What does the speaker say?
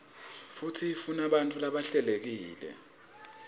futsi ifunabantfu labahlelekile